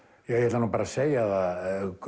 ég ætla bara að segja það